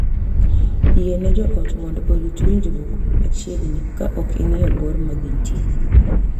Yie ne joot mondo orit winjruok machiegni ka ok ing'iyo bor ma gintie.